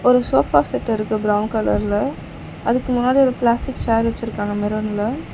ஒரு sofa set இருக்கு brown கலர்ல அதுக்கு முன்னாடி ஒரு பிளாஸ்டிக் சேர் வெச்சுருக்காங்க மெரூன்ல .